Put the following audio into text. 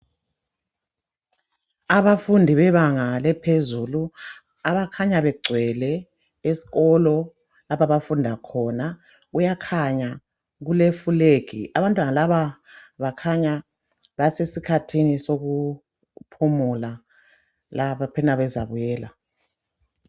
Abafundi bebanga eliphezulu , abakhanya begcwele esikolo lapho abafundi khona . Kuyakhanya kulefulegi. Abantwana laba bakhanya basesikhathini sokuphumula lapha bakhona bezabuyela.